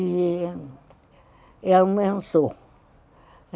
E aumentou.